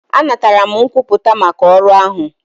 Anatara m nkwupụta maka ọrụ ahụ.